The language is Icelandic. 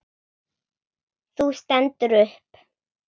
Þú stendur upp.